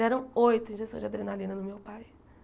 Deram oito injeções de adrenalina no meu pai.